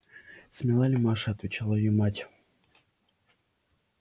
смела ли маша отвечала её мать